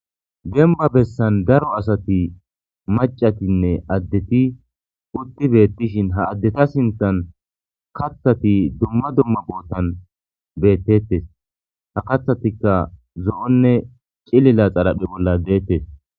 Denba bessan daro asati macatinne addeti utti beettishin ha addeta sintan kaththati dumma dumma boottan beettettes ha kathatikka zo'onne cilila xalaphe bolla deettes.